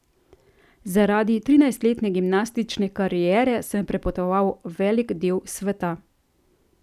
Zaradi trinajstletne gimnastične kariere sem prepotoval velik del sveta.